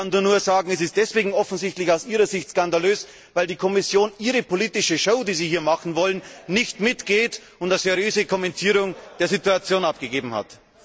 Ich kann dazu nur sagen, es ist offensichtlich deswegen aus Ihrer Sicht skandalös, weil die Kommission Ihre politische Show, die Sie hier machen wollen, nicht mitmacht und eine seriöse Kommentierung der Situation abgegeben hat.